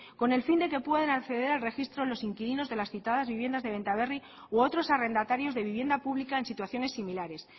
con el fin de que puedan acceder al registro los inquilinos de las citadas viviendas de benta berri u otros arrendatarios de vivienda pública en situaciones similares